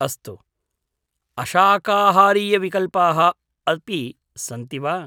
अस्तु, अशाकाहारीयविकल्पाः अपि सन्ति वा?